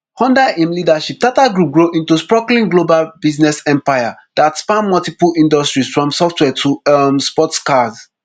under im leadership tata group grow into sprawling global business empire dat span multiple industries from software to um sports cars